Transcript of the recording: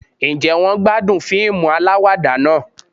Ǹjẹ́ wọ́n gbádùn fíìmù aláwàdà náà